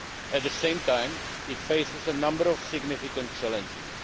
At the same time, it faces a number of significant challenges.